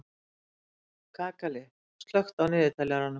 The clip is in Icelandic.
Kakali, slökktu á niðurteljaranum.